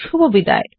শুভবিদায়